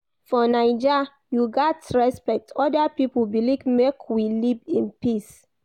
For Naija, you gats respect oda pipo belief make we live in peace.